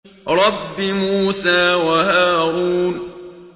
رَبِّ مُوسَىٰ وَهَارُونَ